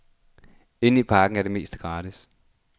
Inde i parken er det meste gratis.